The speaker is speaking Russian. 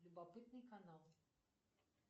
любопытный канал